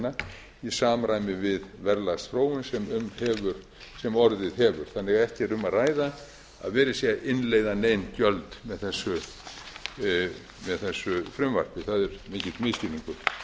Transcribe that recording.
í samræmi við verðlagsþróun sem orðið hefur þannig að ekki er um að ræða að verið sé að innleiða nein gjöld með þessu frumvarpi það er mikill misskilningur